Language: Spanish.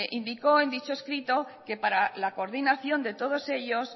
indicó en dicho escrito que para la coordinación de todos ellos